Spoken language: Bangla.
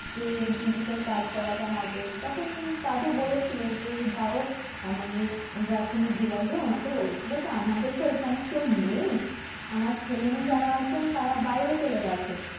যে digital card করাতে হবে তখন দাদু বলেছিলো যে ধরো মানে ration এর dilar যে ওনাকে বলেছিলো যে আমাদের তো এখানে কেউ নেই আমার ছেলেমেয়ে যারা আছে তারা বাইরে চলে গেছে